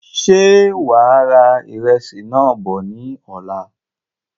Ṣe wàá ra ìrẹsì náà bọ̀ ní ọ̀la?